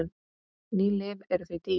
Ný lyf eru því dýr.